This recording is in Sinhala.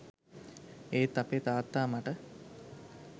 ඒත් අපේ තාත්තා මට